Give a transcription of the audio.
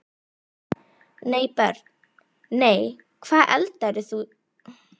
nei Börn: nei Hvað eldaðir þú síðast?